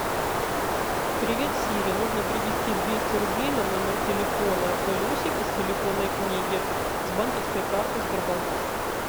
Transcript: привет сири нужно перевести двести рублей на номер телефона галюсик из телефонной книги с банковской карты сбербанк